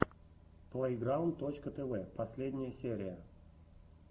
плейграунд точка тв последняя серия